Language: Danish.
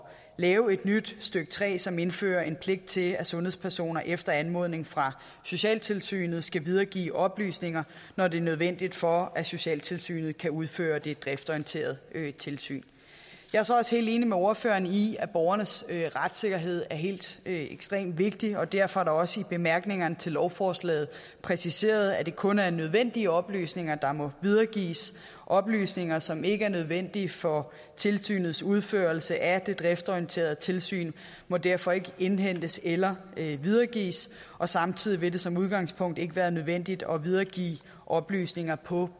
lave et nyt stykke tre som indfører en pligt til at sundhedspersoner efter anmodning fra socialtilsynet skal videregive oplysninger når det er nødvendigt for at socialtilsynet kan udføre det driftsorienterede tilsyn jeg er så også helt enig med ordføreren i at borgernes retssikkerhed er helt ekstremt vigtig og derfor er det også i bemærkningerne til lovforslaget præciseret at det kun er nødvendige oplysninger der må videregives oplysninger som ikke er nødvendige for tilsynets udførelse af det driftsorienterede tilsyn må derfor ikke indhentes eller videregives og samtidig vil det som udgangspunkt ikke være nødvendigt at videregive oplysninger på